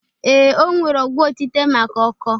Ee, o nwere ọgwọ otite maka ọkọọ